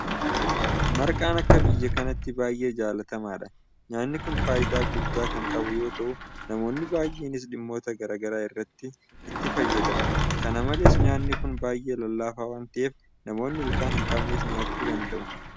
Marqaan akka biyya kanaatti baay'ee jaalatamaadha. Nyaanni kun faayidaa guddaa kan qabu yeroo ta'u namoonni baay'eenis dhimmoota garaa garaa irratti itti fayyadamu. Kana malees nyaanni kun baay'ee lallaafaa waanta ta'eef namoonni ilkaan hinqabnes nyaachuu danda'u.